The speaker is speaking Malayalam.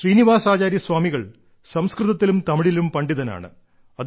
ശ്രീനിവാസാചാര്യ സ്വാമികൾ സംസ്കൃതത്തിലും തമിഴിലും പണ്ഡിതനാണ്